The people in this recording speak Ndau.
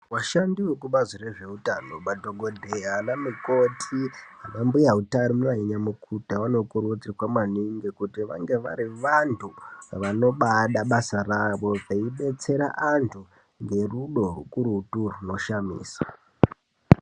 Vashandi vekubazi rezveutano madhokodheya ana mukoti anambuya utarino ainyamukuta vanokurudzira maningi kuti vange vari vantu vanobaada basa ravo nekudetsera antu ngerudo rukurutu runoshamiso.